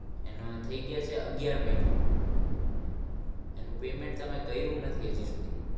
એનો થઈ ગયા છે આગિયાર મહીના એનું payment તમે કર્યું નથી હજી સુધી